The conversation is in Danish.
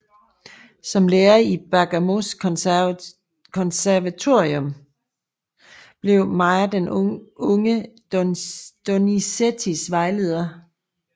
Som lærer i Bergamos konservatorium blev Mayr den unge Donizettis vejleder